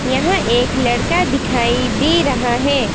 यहां एक लड़का दिखाई दे रहा है।